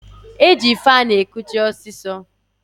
E ji faanụ ekuche ọsịsọ.